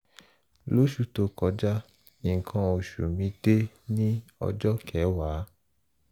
lóṣù tó kọjá nnkan oṣù mi dé ní ọjọ́ kẹwàá